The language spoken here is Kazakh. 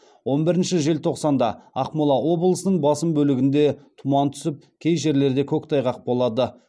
он бірінші желтоқсанда ақмола облысының басым бөлігінде тұман түсіп кей жерлерде көктайғақ болады